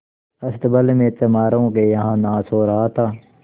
अस्तबल में चमारों के यहाँ नाच हो रहा था